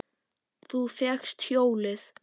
Þú fékkst hjólið!